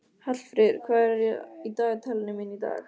Hallfríður, hvað er í dagatalinu mínu í dag?